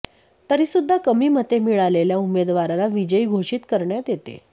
तरीसुद्धा कमी मते मिळालेल्या उमेदवाराला विजयी घोषित करण्यात येते